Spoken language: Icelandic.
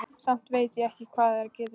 Samt veit ég ekki hvað það getur verið.